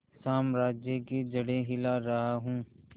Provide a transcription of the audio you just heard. साम्राज्य की जड़ें हिला रहा हूं